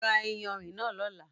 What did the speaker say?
Rá ìyánrín náà lọla!